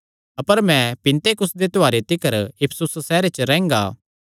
अपर मैं पिन्तेकुस्त दे त्योहारे तिकर इफिसुस सैहरे च रैंह्गा